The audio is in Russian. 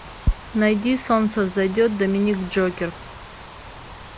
найди солнце взойдет доминик джокер